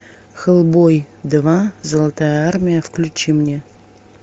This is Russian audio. хеллбой два золотая армия включи мне